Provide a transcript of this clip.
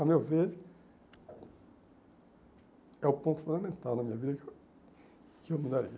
Ao meu ver, é o ponto fundamental na minha vida que eu mudaria.